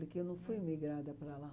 Porque eu não fui migrada para lá.